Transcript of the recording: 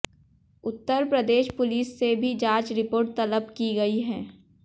उत्तर Pradesh police से भी जांच रिपोर्ट तलब की गई है